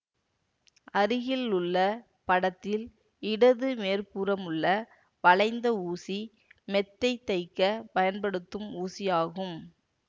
அருகிலுள்ள படத்தில் இடது மேற்புறமுள்ள வளைந்த ஊசி மெத்தைத் தைக்கப் பயன்படுத்தும் ஊசியாகும்